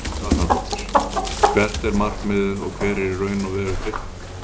Helga Arnardóttir: Hvert er markmiðið og hver er í raun og veru tilgangurinn?